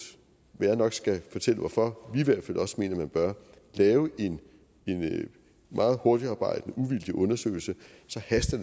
og jeg skal nok fortælle hvorfor vi i hvert fald også mener at man bør lave en meget hurtigtarbejdende uvildig undersøgelse så haster